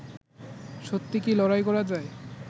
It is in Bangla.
সত্যি কি লড়াই করা যায়